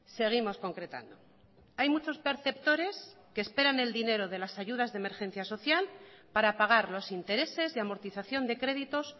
seguimos concretando hay muchos perceptores que esperan el dinero de lasayudas de emergencia social para pagar los intereses y amortización de créditos